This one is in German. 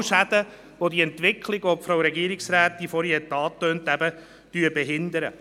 Es sind genau solche Schäden, die die Entwicklung, die vorhin von der Frau Regierungsrätin angetönt worden ist, behindern.